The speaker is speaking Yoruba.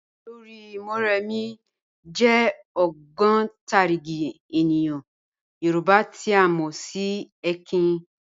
Ọlọ́rì̀ Mọ̀remí (Mọ̀remí Àjàṣorò) jẹ̀ ogbontarigi ènìyàn Yorùbá tí a mọ sí ẹ̀kìn."